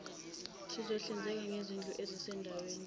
sizohlinzeka ngezindlu ezisezindaweni